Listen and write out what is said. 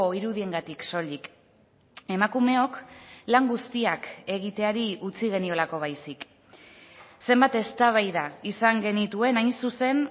irudiengatik soilik emakumeok lan guztiak egiteari utzi geniolako baizik zenbat eztabaida izan genituen hain zuzen